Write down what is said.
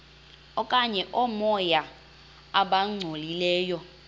okanye oomoya abangcolileyo